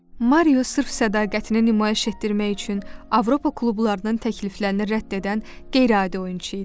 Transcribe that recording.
Mario sırf sədaqətini nümayiş etdirmək üçün Avropa klublarının təkliflərini rədd edən qeyri-adi oyunçu idi.